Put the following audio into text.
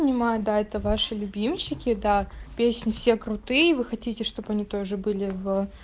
да это ваше любимчики до песни все крутые вы хотите чтобы они тоже были в